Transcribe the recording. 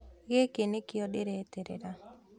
Gĩkĩ nĩkĩo ndĩreterera